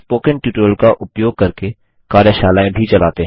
spoken tutorial का उपयोग करके कार्यशालाएँ भी चलाते हैं